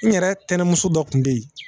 N yɛrɛ tɛnɛmuso dɔ kun bɛ yen